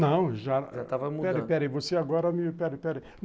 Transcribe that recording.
Não, já, estava mudando, não, peraí, peraí